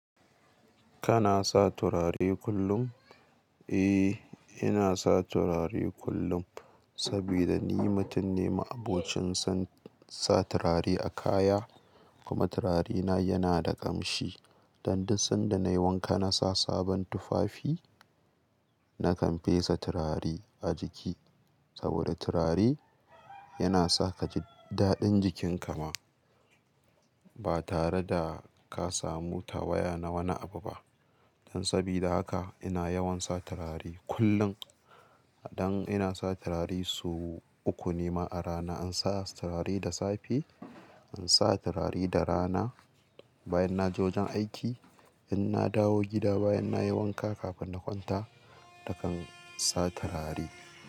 Kana sa turare kullum? Eh, ina sa turare kullum sabida ni mutun ne ma abocin sa tulare a kaya kuma turarena yana da ƙamshi. Dan duk sanda na yi wanka na sa sabon tufafi, na kam pe sa turare a jiki. Saboda turare yana sa ka ji daɗin jikinka ma ba tare da ka samu tawaya na wani abu ba don sabida haka ina yawan sa turare kullum. Dan ina sa turare so uku ne ma a rana. In sa turare da safe, in sa turare da rana bayan na je wajen aiki, in na dawo gida bayan na yi wanka kafin na kwanta na kan sa turare.